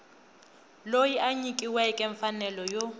loyi a nyikiweke mfanelo yo